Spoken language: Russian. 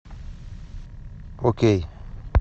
окей